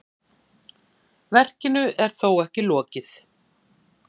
Verkinu er þó ekki lokið.